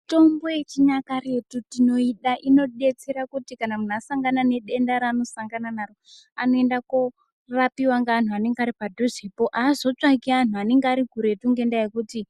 Mitombo yechinyakare tinoida inodetsera kuti kana muntu asangana nedenda raanosangana naro anoenda korapiwa ngeantu anenge aripadhuzepo. Aazotsvaki antu anenge arikuretu ngendaa yekuti